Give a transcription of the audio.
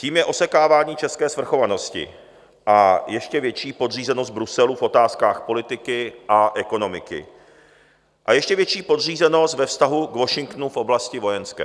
Tím je osekávání české svrchovanosti a ještě větší podřízenost Bruselu v otázkách politiky a ekonomiky a ještě větší podřízenost ve vztahu k Washingtonu v oblasti vojenské.